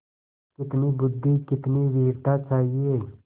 कितनी बुद्वि कितनी वीरता चाहिए